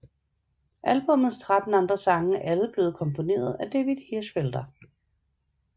Albummets tretten andre sange er alle blevet komponeret af David Hirschfelder